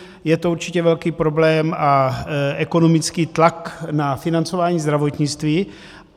Je to určitě velký problém a ekonomický tlak na financování zdravotnictví.